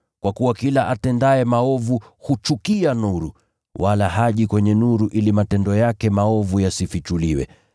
Kwa kuwa kila atendaye maovu huchukia nuru, wala haji kwenye nuru ili matendo yake maovu yasifichuliwe.